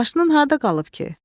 Maşının harda qalıb ki?